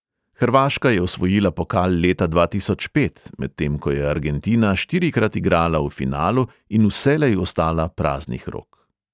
Hrvaška je osvojila pokal leta dva tisoč pet, medtem ko je argentina štirikrat igrala v finalu in vselej ostala praznih rok.